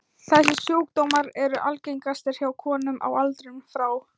Þessir sjúkdómar eru algengastir hjá konum á aldrinum frá